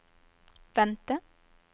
vente